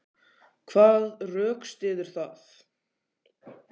Hvað rökstyður það?